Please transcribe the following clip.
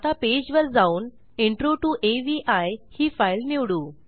आता पेजवर जाऊन इंट्रो टीओ अवी ही फाईल निवडू